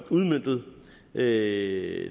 her